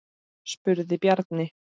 spurði Bjarni.